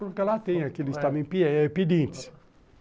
Porque lá tem aqueles também pedintes.